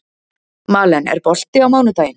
Malen, er bolti á mánudaginn?